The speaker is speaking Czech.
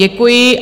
Děkuji.